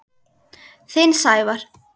Þinn, Sævar.